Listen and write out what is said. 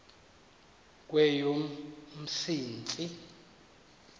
kweyomsintsi